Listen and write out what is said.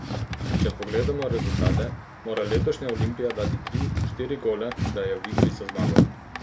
Če pogledamo rezultate, mora letošnja Olimpija dati tri, štiri gole, da je v igri za zmago.